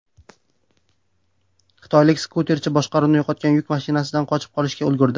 Xitoylik skuterchi boshqaruvni yo‘qotgan yuk mashinasidan qochib qolishga ulgurdi.